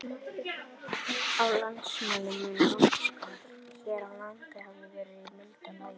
Á landnámsöld mun loftslag hér á landi hafa verið í mildara lagi.